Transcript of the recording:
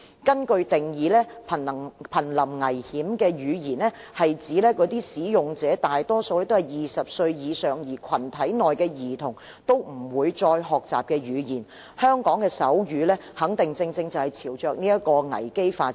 根據定義，瀕臨危險的語言是指那些使用者大多數是20歲以上人士，而群體內的兒童都不會再學習的語言，香港的手語肯定正朝着這個危機發展。